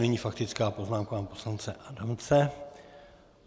Nyní faktická poznámka pana poslance Adamce.